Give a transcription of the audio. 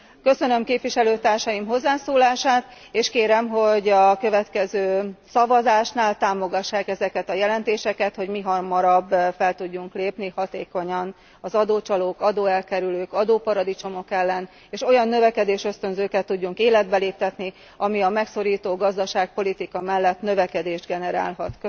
Köszönöm képviselőtársaim hozzászólását, és kérem, hogy a következő szavazásnál támogassák ezeket a jelentéseket, hogy mihamarabb fel tudjunk lépni hatékonyan az adócsalók, adóelkerülők, adóparadicsomok ellen, és olyan növekedésösztönzőket tudjunk életbe léptetni, amelyek a megszorító gazdaságpolitika mellett növekedést generálhatnak.